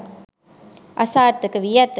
අසාර්ථකවී ඇත.